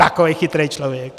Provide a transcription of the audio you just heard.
Takový chytrý člověk!